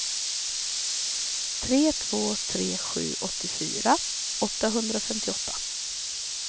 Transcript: tre två tre sju åttiofyra åttahundratrettioåtta